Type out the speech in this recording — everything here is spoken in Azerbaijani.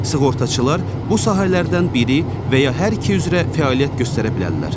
Sığortaçılar bu sahələrdən biri və ya hər iki üzrə fəaliyyət göstərə bilərlər.